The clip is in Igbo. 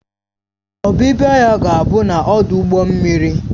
Ọbịbịa ya ga-abụ n'ọdụ ụgbọ mmiri